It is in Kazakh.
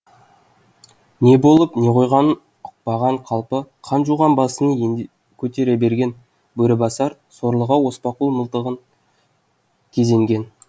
не болып не қойғанын ұқпаған қалпы қан жуған басын енді көтере берген бөрібасар сорлыға оспақұл мылтығын кезенген